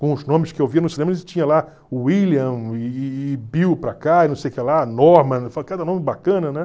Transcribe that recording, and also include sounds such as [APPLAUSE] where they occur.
Com os nomes que eu via no cinema, [UNINTELLIGIBLE] tinha lá William e e e Bill para cá, e não sei que lá, Norman [UNINTELLIGIBLE] cada nome bacana, né?